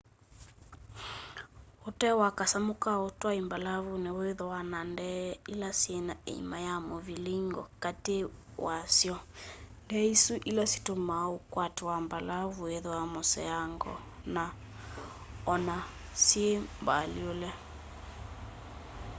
ũtee wa kasamũ ka ũtwaĩa mbalavunĩ wĩthĩaa na ndee ilĩ syĩna ĩima ya mũvilingo katĩ katĩ wa sy'o ndee isu ilĩ situmaa ũkwati wa mbalavu wĩthĩwa mũseango o na syĩ mbalyũũle